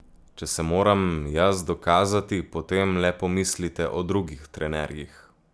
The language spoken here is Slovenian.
Če se moram jaz dokazati, potem le pomislite o drugih trenerjih.